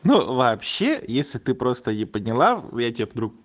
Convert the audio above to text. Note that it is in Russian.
ну вообще если ты просто не поняла в тебе друг